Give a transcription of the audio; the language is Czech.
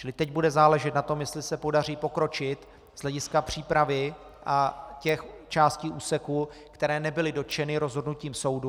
Čili teď bude záležet na tom, jestli se podaří pokročit z hlediska přípravy a těch částí úseků, které nebyly dotčeny rozhodnutím soudu.